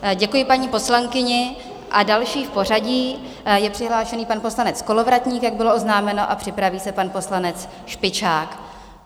Děkuji paní poslankyni a další v pořadí je přihlášený pan poslanec Kolovratník, jak bylo oznámeno, a připraví se pan poslanec Špičák.